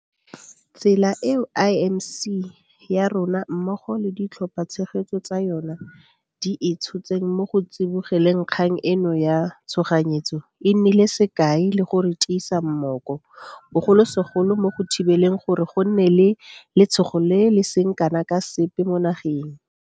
Tsela eo IMC ya rona mmogo le ditlhophatshegetso tsa yona di e tshotseng mo go tsibogeleng kgang eno ya tshoganyetso e nnile sekai le go re tiisa mmooko, bogolosegolo mo go thibeleng gore go nne le letshogo le le seng kana ka sepe mo nageng.